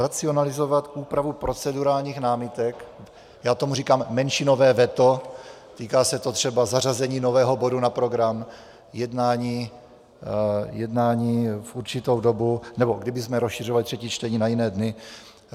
Racionalizovat úpravu procedurálních námitek - já tomu říkám menšinové veto, týká se to třeba zařazení nového bodu na program jednání v určitou dobu, nebo kdybychom rozšiřovali třetí čtení na jiné dny.